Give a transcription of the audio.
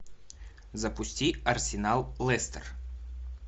запусти арсенал лестер